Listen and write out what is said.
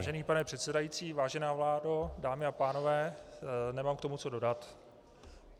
Vážený pane předsedající, vážená vládo, dámy a pánové, nemám k tomu co dodat.